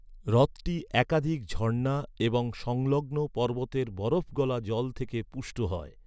হ্রদটি একাধিক ঝর্ণা এবং সংলগ্ন পর্বতের বরফগলা জল থেকে পুষ্ট হয়।